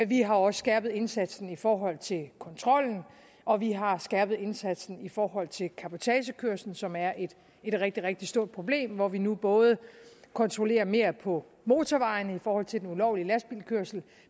vi har også skærpet indsatsen i forhold til kontrollen og vi har skærpet indsatsen i forhold til cabotagekørsel som er et rigtig rigtig stort problem hvor vi nu både kontrollerer mere på motorvejene i forhold til den ulovlige lastbilkørsel